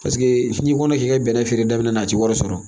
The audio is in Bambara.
Paseke n'i kɔnɔ k'i ka bɛnɛ feere daminɛ a tɛ wari sɔrɔ